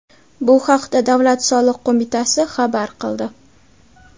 Bu haqda Davlat soliq qo‘mitasi xabar qildi.